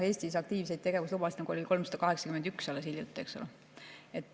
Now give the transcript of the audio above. Eestis oli aktiivseid tegevuslubasid alles hiljuti 381.